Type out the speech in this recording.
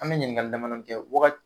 An bɛ ɲininkali dama dɔnin kɛ waga